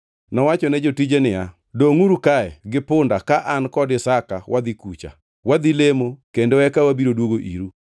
Nowacho ne jotije niya, “Dongʼuru kae gi punda ka an kod Isaka wadhi kucha. Wadhi lemo kendo eka wabiro duogo iru.”